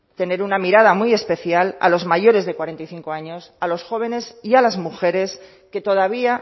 tener una mirada muy especial a los mayores de cuarenta y cinco años a los jóvenes y a las mujeres que todavía